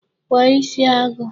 Kwa isi agụ!